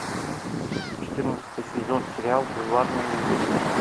четырнадцатый сезон сериал бульварные ужасы